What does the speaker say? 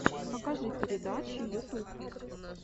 покажи передачи ютуб